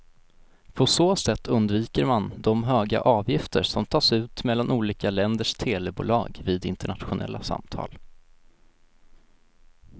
På så sätt undviker man de höga avgifter som tas ut mellan olika länders telebolag vid internationella samtal.